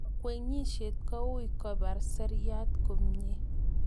kagwenyishet koui kopar seriat komiee